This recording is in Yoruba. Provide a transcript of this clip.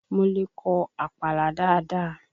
Mo lè kọ àpàlà dáadáa.